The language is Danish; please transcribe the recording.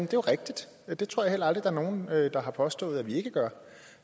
jo rigtigt det tror jeg at der er nogen der har påstået at vi ikke gør